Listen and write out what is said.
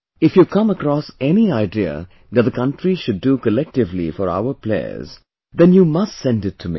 If you come across any idea that the country should do collectively for our players, then you must send it to me